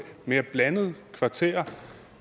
mere blandet kvarter og